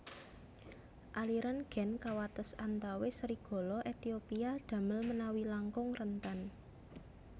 Aliran gen kawates antawis serigala Ethiopia damel menawi langkung rentan